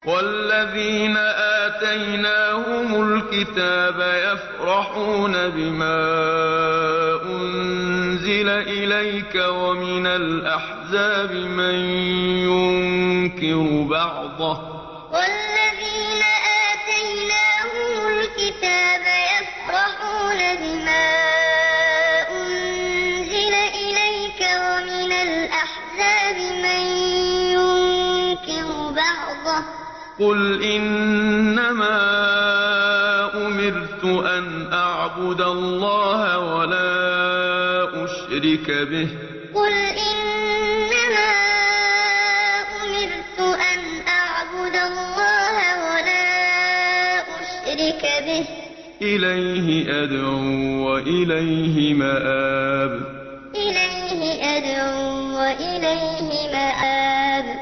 وَالَّذِينَ آتَيْنَاهُمُ الْكِتَابَ يَفْرَحُونَ بِمَا أُنزِلَ إِلَيْكَ ۖ وَمِنَ الْأَحْزَابِ مَن يُنكِرُ بَعْضَهُ ۚ قُلْ إِنَّمَا أُمِرْتُ أَنْ أَعْبُدَ اللَّهَ وَلَا أُشْرِكَ بِهِ ۚ إِلَيْهِ أَدْعُو وَإِلَيْهِ مَآبِ وَالَّذِينَ آتَيْنَاهُمُ الْكِتَابَ يَفْرَحُونَ بِمَا أُنزِلَ إِلَيْكَ ۖ وَمِنَ الْأَحْزَابِ مَن يُنكِرُ بَعْضَهُ ۚ قُلْ إِنَّمَا أُمِرْتُ أَنْ أَعْبُدَ اللَّهَ وَلَا أُشْرِكَ بِهِ ۚ إِلَيْهِ أَدْعُو وَإِلَيْهِ مَآبِ